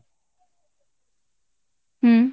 হম।